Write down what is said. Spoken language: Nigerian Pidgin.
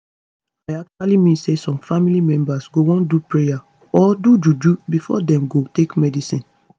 i actually mean say some family members go wan do prayer or do juju before dem go take medicine